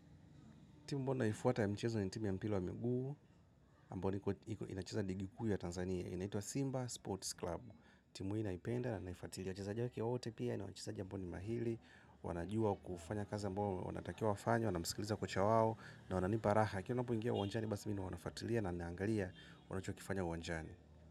Timu ambayo naifuata ya mchezo ni timu ya mpira wa miguu. Ambayo inacheza ligi kuu ya Tanzania. Inaitwa Simba Sports Club. Timu hii naipenda na naifuatilia. Wachezaji wake wote pia ni wachezaji ambao ni mahili. Wanajua kufanya kazi ambayo wanatakiwa wafanye, wanamskiliza kocha wao na wananipa raha. Wanapoingia uwanjani basi mimi nawafuatilia na naangalia wanachokifanya uwanjani.